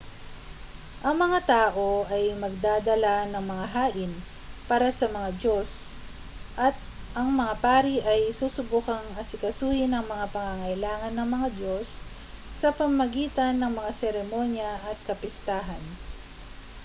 ang mga tao ay magdadala ng mga hain para sa mga diyos at ang mga pari ay susubukang asikasuhin ang mga pangangailangan ng mga diyos sa pamamagitan ng mga seremonya at kapistahan